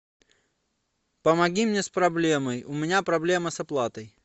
помоги мне с проблемой у меня проблема с оплатой